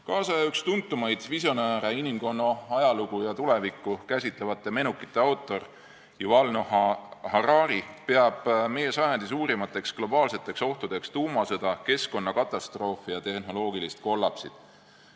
Üks tänapäeva tuntumaid visionääre, inimkonna ajalugu ja tulevikku käsitlevate menukite autor Yuval Noah Harari peab meie sajandi suurimateks globaalseteks ohtudeks tuumasõda, keskkonnakatastroofi ja tehnoloogilist kollapsit.